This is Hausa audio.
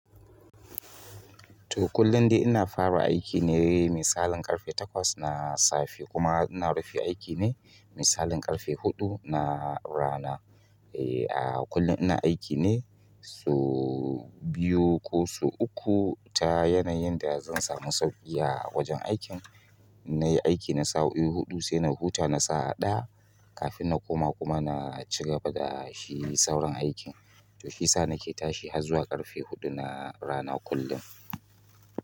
To, kullum dai ina fara aiki ne misalin ƙarfe takwas na safe kuma ina rufe aiki ne misalin ƙarfe huɗu na rana. Eh, a kullum ina aiki ne sau biyu ko sau uku ta yanayin da zan samu sauƙi a wajen aikin. Nayi aiki na sao'i huɗu sai na huta na sa'a ɗaya kafin nakoma kuma naci gaba da shi sauran aikin to shi sa nake tashi har zuwa ƙarfe huɗu na rana kullum.